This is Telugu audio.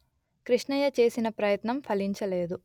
కృష్ణయ్య చేసిన ప్రయత్నం ఫలించలేదు